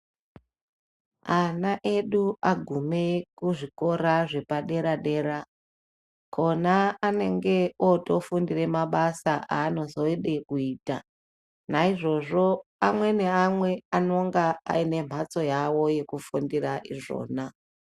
Ana edu agume kuzvikora zvepadera-dera kona anenge otofundire mabasa anozode kuita. Naizvozvo amwe naamwe anonga aine mhatso yavo yekufundira izvona.